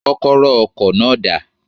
Kókóró ọkò náà dà?